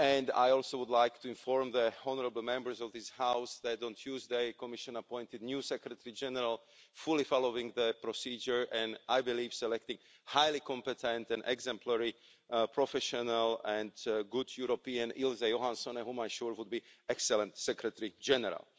I also would like to inform the honourable Members of this House that on Tuesday, the Commission appointed a new Secretary General fully following the procedure and, I believe, selecting a highly competent and exemplary professional and good European, Ms Juhansone, who I'm sure will be an excellent Secretary General.